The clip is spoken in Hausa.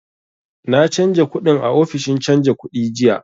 Na canja kuɗin a ofishin canja kuɗi jiya